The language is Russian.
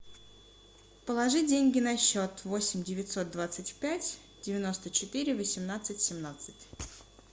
положи деньги на счет восемь девятьсот двадцать пять девяносто четыре восемнадцать семнадцать